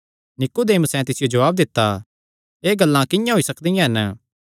नीकुदेमुसें तिसियो जवाब दित्ता एह़ गल्लां किंआं होई सकदियां हन